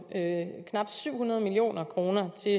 knap syv hundrede million kroner til